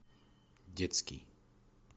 детский